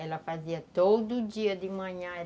Ela fazia todo dia de manhã.